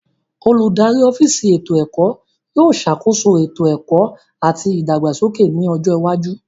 Oludari ọfiisi eto ẹkọ yóò ṣakoso eto eto ẹkọ ati ìdàgbàsókè ni ọjọ iwaju.